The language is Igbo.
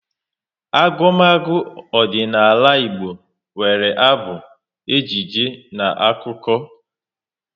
Agumagu ọdịnala Igbo nwere abụ, ejije na akụkọ